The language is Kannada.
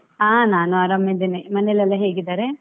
ಹಾ ನಾನು ಆರಾಮಿದ್ದೇನೆ, ಮನೆಯಲ್ಲೆಲ್ಲಾ ಹೇಗಿದ್ದಾರೆ?